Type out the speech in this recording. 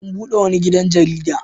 A bude wani gidan jarida.